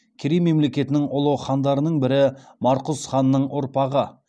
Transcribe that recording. керей мемлекетінің ұлы хандарының бірі марқұз ханның ұрпағы